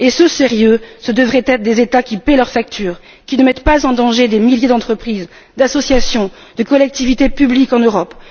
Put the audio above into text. Et ce sérieux, ce devrait être des États qui paient leurs factures, qui ne mettent pas en danger des milliers d'entreprises, d'associations, de collectivités publiques en Europe.